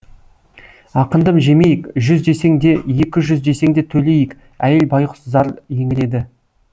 ақыңды жемейік жүз десең де екі жүз десең де төлейік әйел байғұс зар еңіреді